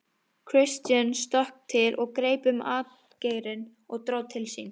Christian stökk til og greip um atgeirinn og dró til sín.